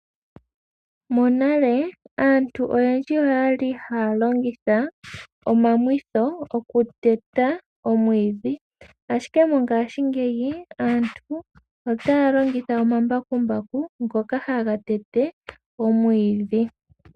Monale aantu oyendji oyali haya longitha omamwitho okuteta omwiidhi, ashike mongashingeyi aantu otaya longitha omambakumbaku ngoka haga tete omwiidhi.